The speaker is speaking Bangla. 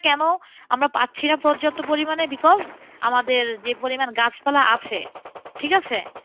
কেন আমরা পারছিনা পর্যাপ্ত পরিমানে because আমাদের যে পরিমান গাছপালা আছে, ঠিকাছে?